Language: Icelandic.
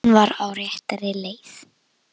Hann var á réttri leið.